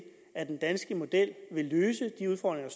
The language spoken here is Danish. at den danske model vil løse de udfordringer